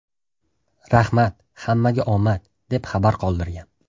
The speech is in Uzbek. Rahmat, hammaga omad!” deb xabar qoldirgan .